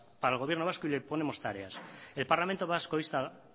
para el gobierno vasco y le ponemos tareas cuarto el parlamento vasco insta